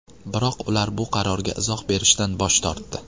Biroq ular bu qarorga izoh berishdan bosh tortdi.